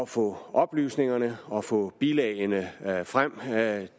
få oplysningerne og få bilagene frem